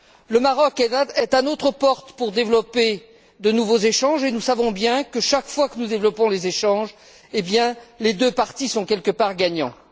Le Maroc est à notre porte pour développer de nouveaux échanges et nous savons bien que, chaque fois que nous développons les échanges, les deux parties sont quelque part gagnantes.